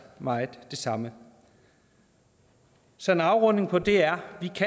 meget af det samme så en afrunding på det er